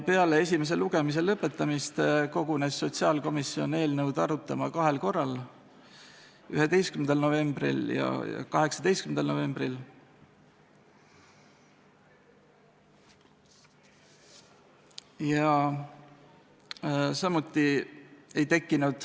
Peale esimese lugemise lõpetamist kogunes sotsiaalkomisjon eelnõu arutama kahel korral: 11. novembril ja 18. novembril.